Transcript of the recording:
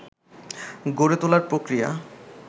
গড়ে তোলার প্রক্রিয়া